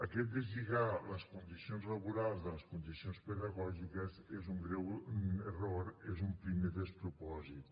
aquest deslligar les condicions laborals de les condicions pedagògiques és un greu error és un primer despropòsit